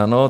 Ano.